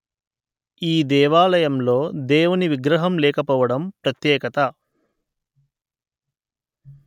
ఈ దేవాలయంలో దేవుని విగ్రహం లేకపోవడం ప్రత్యేకత